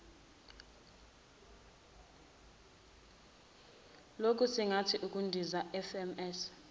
lokusingatha ukundiza fms